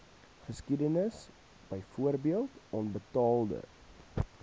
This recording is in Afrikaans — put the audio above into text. geskiedenis byvoorbeeld onbetaalde